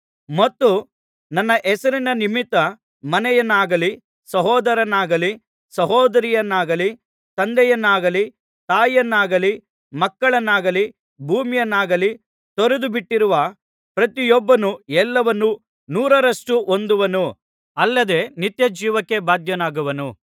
ಮತ್ತು ನನ್ನ ಹೆಸರಿನ ನಿಮಿತ್ತ ಮನೆಗಳನ್ನಾಗಲಿ ಸಹೋದರರನ್ನಾಗಲಿ ಸಹೋದರಿಯರನ್ನಾಗಲಿ ತಂದೆಯನ್ನಾಗಲಿ ತಾಯಿಯನ್ನಾಗಲಿ ಮಕ್ಕಳನ್ನಾಗಲಿ ಭೂಮಿಯನ್ನಾಗಲಿ ತೊರೆದುಬಿಟ್ಟಿರುವ ಪ್ರತಿಯೊಬ್ಬನೂ ಎಲ್ಲವನ್ನೂ ನೂರರಷ್ಟು ಹೊಂದುವನು ಅಲ್ಲದೆ ನಿತ್ಯಜೀವಕ್ಕೆ ಬಾಧ್ಯನಾಗುವನು